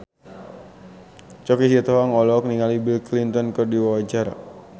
Choky Sitohang olohok ningali Bill Clinton keur diwawancara